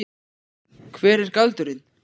Hver er galdurinn?